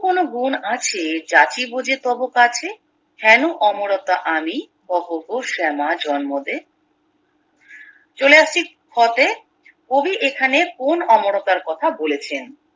কোনো গুন্ আছে জাতি বুঝে তবে কাছে হেনো অমরতা আনি কোহোগো শ্যামা জন্মদে চলে আসছি খ তে কবি এখানে কোন অমরতার কথা বলেছেন